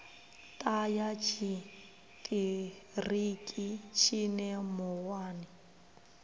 ṱa ya tshiṱiriki tshine muwani